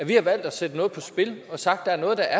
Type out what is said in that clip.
vi har valgt at sætte noget på spil og sagt der er noget der